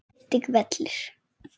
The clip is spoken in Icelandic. Einnig vellir.